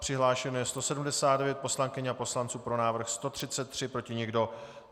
Přihlášeno je 179 poslankyň a poslanců, pro návrh 133, proti nikdo.